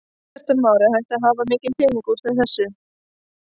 Kristján Már: Er hægt að hafa mikinn pening út úr þessu?